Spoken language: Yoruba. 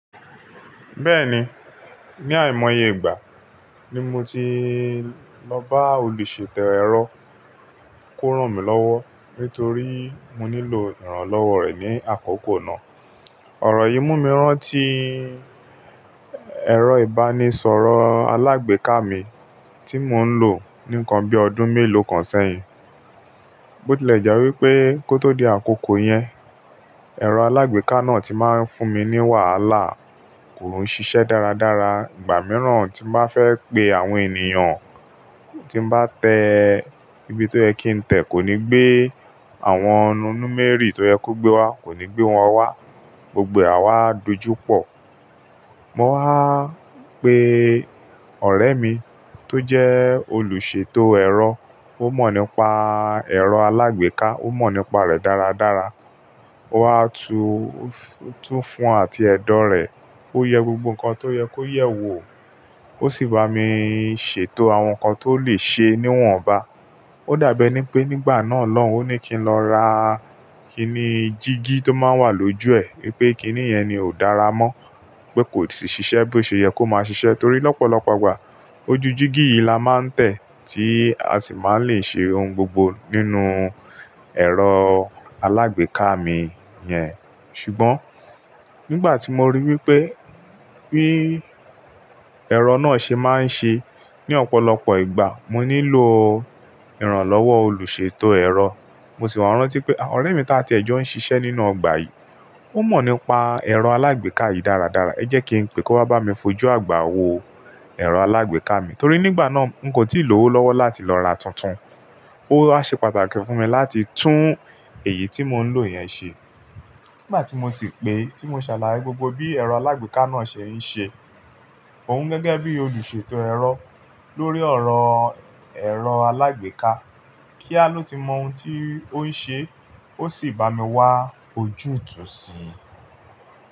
Bẹ́ẹ̀ni, ní àìmọye ìgbà ni mo ti lọ bá olùṣètò ẹ̀rọ kó rán mi lọ́wọ́ nítorí mo nílò ìrànlọ́wọ́ rẹ̀ ní àkókò náà. Ọ̀rọ̀ yìí mú mi rán tí ẹ̀rọ ìbánisọ̀rọ̀ alágbèéká mi tí mò ń lò ní kan bí ọdún mélòó kan sẹ́yìn. Bó tilẹ̀ jẹ́ wípé kó tó di àkókò yẹn, ẹ̀rọ alágbèéká náà tí máa ń fún mi ní wàhálà, kò ń ṣiṣẹ́ dáradára ìgbà mìíràn tí bá fẹ́ pe àwọn ènìyàn, tí bá tẹ ibi tó yẹ kí n tẹ kò ní gbé, àwọn númérì tó yẹ kó gbé wá kò ní gbé wọn wá, gbogbo é awá dojúpọ̀. Mo wá pe ọ̀rẹ́ mi tó jẹ́ olùṣètò ẹ̀rọ, ó mọ̀ nípa ẹ̀rọ alágbèéká, ó mọ̀ nípa rẹ̀ dáradára. Ó wá tú fún àti ẹ̀dọ̀ rẹ̀, ó yẹ gbogbo nǹkan tó yẹ kó yẹ̀ wò, ó sì bá mi ṣètò àwọn nǹkan tó lè ṣe é níwọ̀nba. Ó dàbí ẹni pé nígbà náà lọ́un, ó ní kí n lọ ra kíní jígí tó máa ń wà lójú ẹ̀ wípé kíní yẹn ni ò dára mọ́, pé kò sì ṣiṣẹ́ bí ó ṣe yẹ kó máa ṣiṣẹ́ torí lọ́pọ̀lọpọ̀ ìgbà ojú jígí yìí la máa ń tẹ̀ tí a sì máa ń lè ṣe ohun gbogbo nínú ẹ̀rọ alágbèéká mi yẹn. Ṣùgbọ́n nígbà tí mo rí wípé bí ẹ̀rọ náà ṣe máa ń ṣe ní ọ̀pọ̀lọpọ̀ ìgbà, mo nílò ìrànlọ́wọ́ olùṣètò ẹ̀rọ. Mo sì wà rán tí pé ọ̀rẹ́ mi tá tí ẹ jọ ń ṣiṣẹ́ nínú ọgbà yìí, ó mọ̀ nípa ẹ̀rọ alágbèéká yìí dáradára, ẹ jẹ́ kí n pe kó bá mi fojú àgbà wo ẹ̀rọ alágbèéká mi. Torí nígbà náà n kò tíì lò ó lọ́wọ́ láti lọ ra tuntun. Ó wá ṣe pàtàkì fún mi láti tún èyí tí mò ń lò yẹn ṣe. Nígbà tí mo sì pè é, tí mo ṣàlàyé gbogbo bí ẹ̀rọ alágbèéká náà ṣe ń ṣe, òun gẹ́gẹ́ bí olùṣètò ẹ̀rọ lórí ọ̀rọ̀ ẹ̀rọ alágbèéká, kí á ló ti mọ ohun tí ó ń ṣe, ó sì bá mi wá ojútùú sí i.